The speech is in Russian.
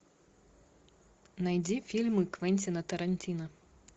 найди фильмы квентина тарантино